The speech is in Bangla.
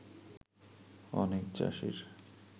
অনেক চাষীর